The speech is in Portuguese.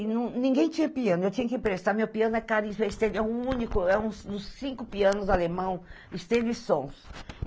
E ninguém tinha piano, eu tinha que emprestar, meu piano é caríssimo, é o único, é um dos cinco pianos alemão, esteve sons.